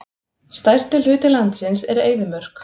Stærsti hluti landsins er eyðimörk.